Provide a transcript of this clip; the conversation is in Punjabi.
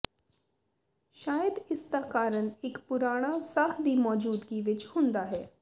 ਸ਼ਾਇਦ ਇਸ ਦਾ ਕਾਰਨ ਇੱਕ ਪੁਰਾਣਾ ਸਾਹ ਦੀ ਮੌਜੂਦਗੀ ਵਿੱਚ ਹੁੰਦਾ ਹੈ